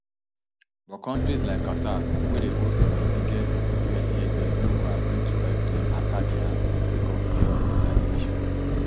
but kontris like qatar wey dey hosts di biggest us airbase no go agree to help dem attack iran sake of fear of retaliation